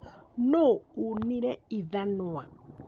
Nũũ ũnire ithanwa?